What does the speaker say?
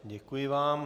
Děkuji vám.